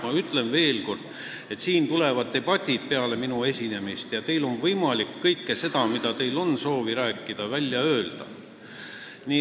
Ma ütlen veel kord, et peale minu esinemist tuleb siin debativoor, kus teil on võimalik kõik see, millest te soovite rääkida, välja öelda.